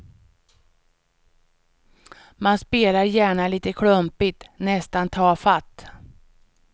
Man spelar gärna lite klumpigt, nästan tafatt.